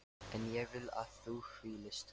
En ég vil að þú hvílist.